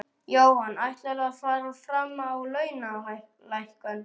Jóhann: Ætlarðu að fara fram á launalækkun?